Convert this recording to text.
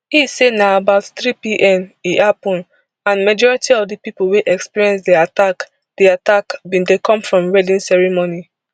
e say na about threepm e happun and majority of di pipo wey experience di attack di attack bin dey come from wedding ceremony